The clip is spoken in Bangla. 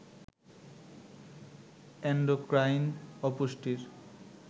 এণ্ডোক্রাইন অপুষ্টির